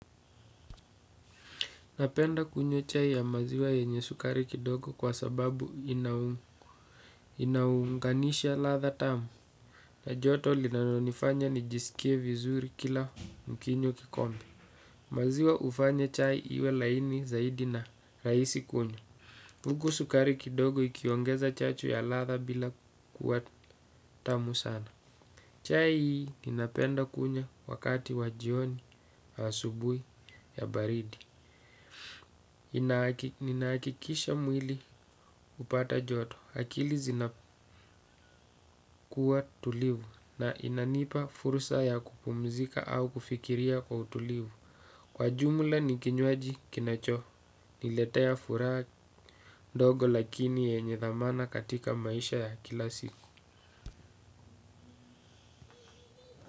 Napenda kunywa chai ya maziwa yenye sukari kidogo kwa sababu inaunganisha ladha tamu. Na joto linalonifanya nijisikie vizuri kila nikinywa kikombe. Maziwa hufanya chai iwe laini zaidi na rahisi kunywa. Huku sukari kidogo ikiongeza chacho ya ladha bila kuwa tamu sana. Chai ninapenda kunywa wakati wa jioni asubuhi ya baridi. Ninahakikisha mwili hupata joto akili zinakuwa tulivu na inanipa fursa ya kupumzika au kufikiria kwa utulivu Kwa jumla ni kinywaji kinachoniletea furaha ndogo lakini yenye thamana katika maisha ya kila siku.